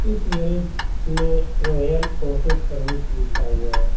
इस गैरेज में royal auto service लिखा हुआ है।